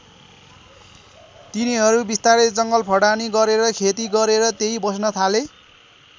तिनीहरू बिस्तारै जङ्गल फडानी गरेर खेती गरेर त्यही बस्न थाले।